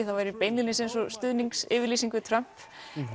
það væri beinlínis eins og stuðningsyfirlýsing við Trump